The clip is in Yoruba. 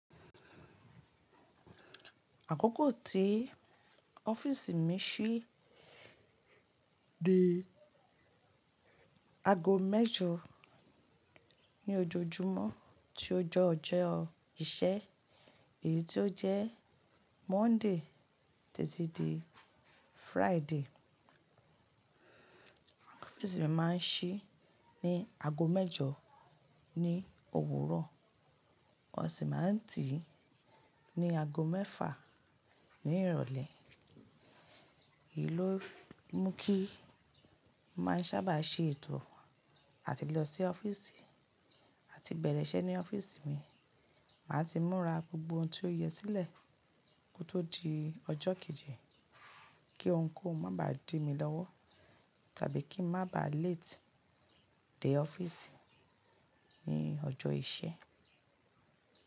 Àkókò tí ọ́fíìsì mi ṣí, di ago mẹ́jọ ní ojoojúmọ́ tí ojẹ́ ọjọ iṣẹ́, èyí tí ó jẹ́ Monday títí dé Friday. Ọ́fíìsì mi máa ń ṣí ní ago mẹ́jọ ní òwúrọ̀, ó sì máa ń tìí ní ago mẹ́fà ní ìrọ̀lẹ́. Èyí ló mú kí máa ń ṣábà ṣe ètò àti lọ sí ọ́fíìsì àti bẹ̀rẹ̀ iṣẹ́ ní ọ́fíìsì mi. Màá ti múra gbogbo ohun tí ó yẹ sílẹ̀ kó tó di ọjọ́ kejì kí ohunkóhun má ba di mí lọ́wọ́ tàbí kí ń má ba late dé ọ́fíìsì ní ọjọ́ iṣẹ́.